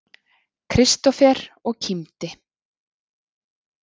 Kristófer og kímdi.